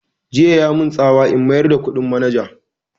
Jiya ya mun tsawa in mayar da kuɗin ma manaja